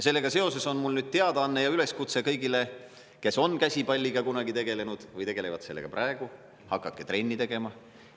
Sellega seoses on mul nüüd teadaanne ja üleskutse kõigile, kes on käsipalliga kunagi tegelenud või tegelevad sellega praegu: hakake trenni tegema!